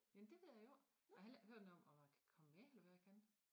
Jamen det ved jeg ikke jeg har heller ikke hørt noget om om man kan komme med eller hvad jeg kan